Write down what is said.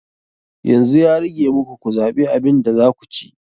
Yanzu ya rage muku ku zaɓi abin da za ku ci.